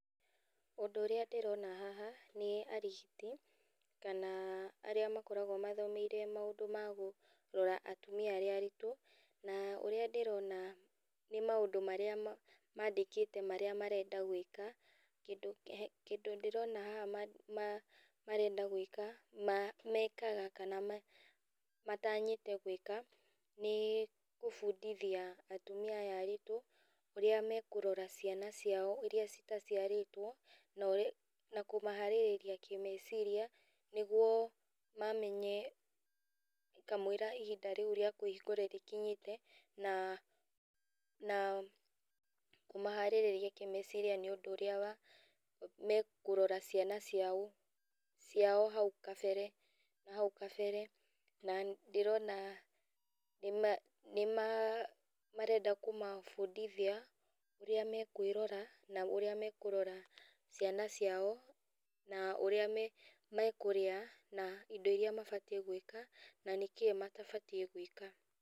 Ũndũ ũrĩa ndĩrona haha nĩ arigiti kana arĩa makoragũo mathomeire maũndũ ma kũrora atumia arĩa aritũ. Na ũrĩa ndĩrona nĩ maũndũ marĩa mandĩkĩte marĩa marenda gwika. Kĩndũ ndĩrona haha mekaga kana matanyĩte gwĩka nĩ kũbundithia atumia aya aritũ ũrĩa mekũrora ciana ciao irĩa citaciarĩtwo na kũmaharĩrĩria kĩĩ meciria nĩguo mamenye kamũira ihinda rĩu rĩa kwĩhingũra rĩkinyĩte. Na kũmaharĩrĩria kĩĩ meciria nĩũndũ ũrĩa wa mekũrora ciana ciao na hau kabere. Na ndĩrona nĩ marenda kũmabundithia ũrĩa mekwĩrora na ũrĩa mekũrora ciana ciao, na ũrĩa mekũrĩa na indo irĩa mabatiĩ gwĩka na nĩ kĩĩ matabatiĩ gwĩka.